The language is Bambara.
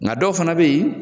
Nka dɔw fana bɛ ye.